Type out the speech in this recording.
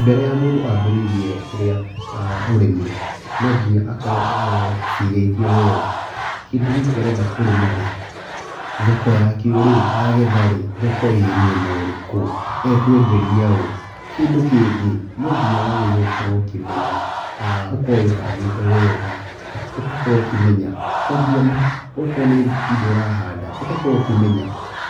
Mbere ya mũndũ mbĩrĩirie kĩrĩa, ũrĩmi, no nginya akorwo ecirĩtie wega. Kĩndũ gĩkĩ arenda kũrĩmarĩ, thoko yakĩo ĩ, agethaĩ, thoko ĩ mwena ũrĩkũ. Agethaĩ, ekwenderia ũ? Kĩndũ kĩngĩ, no nginya wagĩrĩrwo gũkorwo ũkĩmenya, ũkorwo wĩbangĩte wega, ũkorwo ũkĩmenya, kwambia, akorwo nĩ indo ũrahanda, ũgakorwo ũkĩmenya,